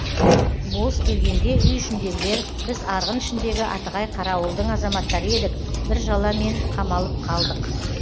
болыс келгенде үй ішіндегілер біз арғын ішіндегі атығай қарауылдың азаматтары едік бір жала мен қамалып қалдық